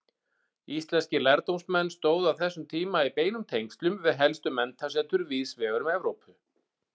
Íslenskir lærdómsmenn stóðu á þessum tíma í beinum tengslum við helstu menntasetur víðsvegar um Evrópu.